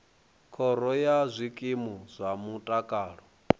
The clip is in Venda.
khoro ya zwikimu zwa mutakalo